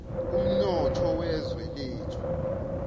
umnotho wezwe lethu